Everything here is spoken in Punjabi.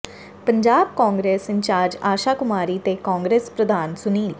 ਪੰਜਾਬ ਕਾਂਗਰਸ ਇੰਚਾਰਜ ਆਸ਼ਾ ਕੁਮਾਰੀ ਤੇ ਕਾਂਗਰਸ ਪ੍ਰਧਾਨ ਸੁਨੀਲ